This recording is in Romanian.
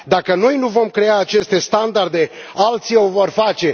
Dacă noi nu vom crea aceste standarde, alții o vor face.